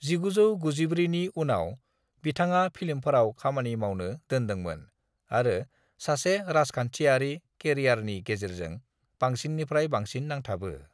1994नि उनाव बिथाङा फिल्मफोराव खामानि मावनो दोनदोंमोन आरो सासे राजखान्थिआरि केरियारनि गेजेरजों बांसिननिफ्राय बांसिन नांथाबो।